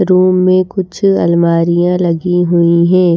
Room में कुछ अलमारियां लगी हुई हैं।